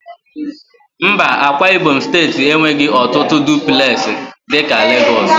Mba, Ákwá ibom steeti enweghị ọtụtụ dụplesi dị ka Lagos